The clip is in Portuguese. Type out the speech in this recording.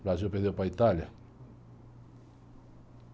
O Brasil perdeu para a Itália.